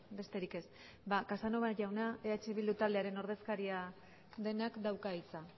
besterik ez casanova jauna eh bildu taldearen ordezkaria denak dauka hitza